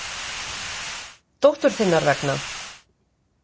Dóttur þinnar vegna.